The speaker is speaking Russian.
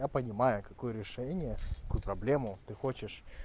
я понимаю какое решение какую проблему ты хочешь